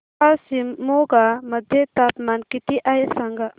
आज शिमोगा मध्ये तापमान किती आहे सांगा